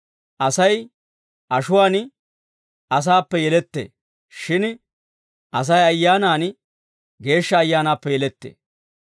Asay ashuwaan asaappe yelettee; shin Asay ayyaanaan Geeshsha Ayyaanaappe yelettee;